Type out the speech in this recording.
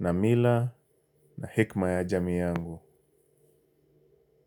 na mila na hekima ya jamii yangu.